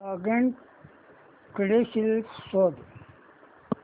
login credentials शोध